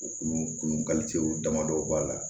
U kulu kuru ka co damadɔw b'a la